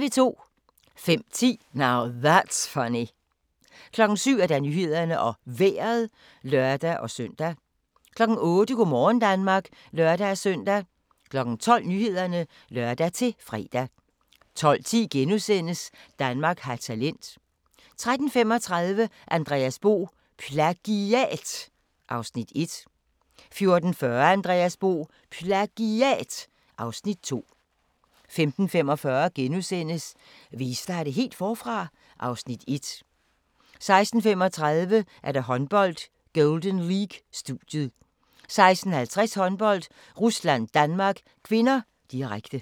05:10: Now That's Funny 07:00: Nyhederne og Vejret (lør-søn) 08:00: Go' morgen Danmark (lør-søn) 12:00: Nyhederne (lør-fre) 12:10: Danmark har talent * 13:35: Andreas Bo - PLAGIAT (Afs. 1) 14:40: Andreas Bo - PLAGIAT (Afs. 2) 15:45: Vil I starte helt forfra? (Afs. 1)* 16:35: Håndbold: Golden League - studiet 16:50: Håndbold: Rusland-Danmark (k), direkte